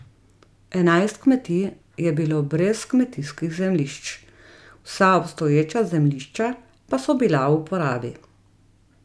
Enajst kmetij je bilo brez kmetijskih zemljišč, vsa obstoječa zemljišča pa so bila v uporabi.